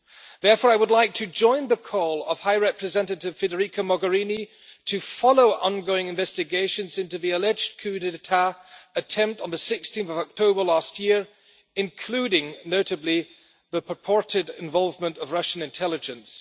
Therefore, I would like to join the call of High Representative Federica Mogherini to follow ongoing investigations into the alleged coup d'état attempt on 16 October last year, including, notably, the purported involvement of Russian intelligence.